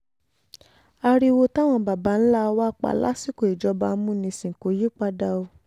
ariwo táwọn baba ńlá wa pa lásìkò ìjọba amúnisìn kò yípadà o